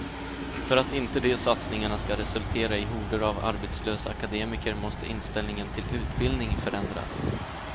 För att inte de satsningarna ska resultera i horder av arbetslösa akademiker måste inställningen till utbildning förändras.